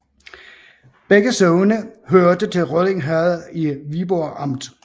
Begge sogne hørte til Rødding Herred i Viborg Amt